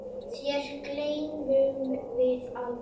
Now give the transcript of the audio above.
Þér gleymum við aldrei.